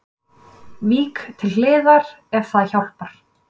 Vík til hliðar ef það hjálpar